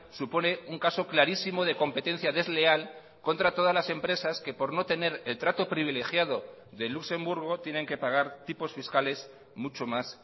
supone un caso clarísimo de competencia desleal contra todas las empresas que por no tener el trato privilegiado de luxemburgo tienen que pagar tipos fiscales mucho más